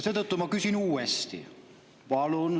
Seetõttu ma küsin uuesti.